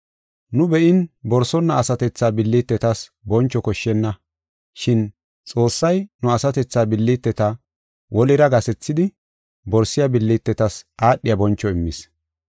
Nu be7in borsonna asatethaa billitetas boncho koshshenna. Shin Xoossay nu asatethaa billiteta wolira gasethidi borsiya billitetas aadhiya boncho immis.